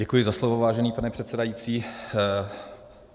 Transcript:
Děkuji za slovo, vážený pane předsedající.